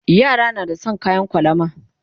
Yara na da San kayan kwalama